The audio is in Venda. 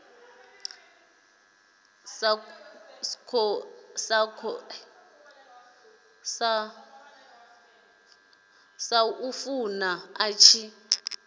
sa khou funa a tshi